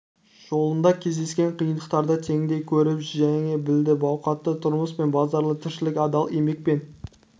жолында кездескен қиындықтарды теңдей көтеріп жеңе білді бақуатты тұрмыс пен базарлы тіршілік адал еңбек пен